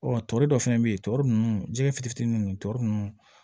Ɔ tɔɔrɔ dɔ fɛnɛ bɛ yen tɔɔrɔ ninnu jɛgɛ fitinin ninnu tɔɔrɔ ninnu